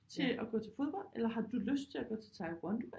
Til at gå til fodbold eller har du lyst til at gå til Taekwondo